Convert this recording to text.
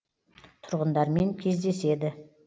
тұрғындармен кезедеседі